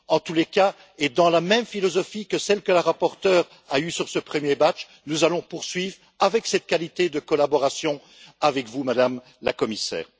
En tout cas, et dans la même philosophie que celle adoptée par la rapporteure sur ce premier train de mesures, nous allons poursuivre avec cette qualité de collaboration avec vous, Madame la Commissaire.